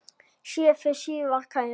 Sé þig síðar, kæri.